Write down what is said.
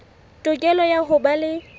tokelo ya ho ba le